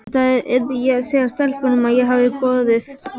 Þetta yrði ég að segja stelpunum, að ég hefði boðið